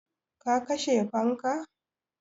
Ka kashe fanka?